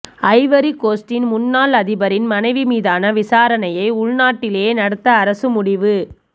ஐவரிகோஸ்டின் முன்னாள் அதிபரின் மனைவி மீதான விசாரணையை உள்நாட்டிலேயே நடத்த அரசு முடிவு